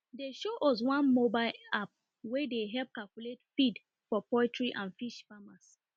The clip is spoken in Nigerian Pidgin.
dem show us one mobile app wey dey help calculate feed for poultry and fish farmers